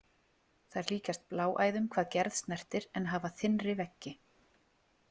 Þær líkjast bláæðum hvað gerð snertir en hafa þynnri veggi.